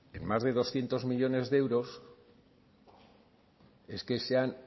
en más de doscientos millónes euros es que se han